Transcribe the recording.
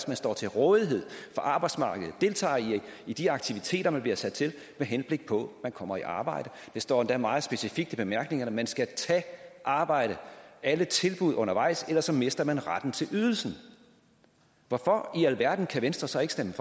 man står til rådighed for arbejdsmarkedet deltager i de aktiviteter man bliver sat til med henblik på man kommer i arbejde det står endda meget specifikt i bemærkningerne at man skal tage arbejde alle tilbud undervejs ellers så mister man retten til ydelsen hvorfor i alverden kan venstre så ikke stemme